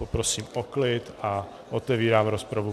Poprosím o klid a otevírám rozpravu.